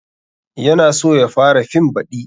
Ya na so ya fara fim baɗi